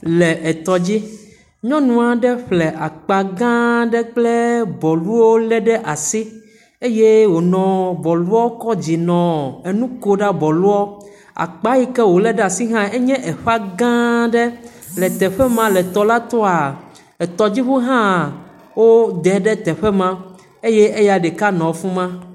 Le etɔ dzi. Nyɔnu aɖe ƒle akpa gãa aɖe kple bɔluwo lé ɖe asi eye wònɔ bɔluo kɔ dzi nɔ enu kom na bɔluɔ. Akpa yi ke wòlé ɖe asi hã enye eƒã gãa aɖe le eteƒe ma le tɔ la toa, etɔdziŋua hã, wodɛ ɖe teƒe ma eye eya ɖeka nɔ afi ma.